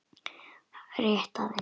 Rétt aðeins, já.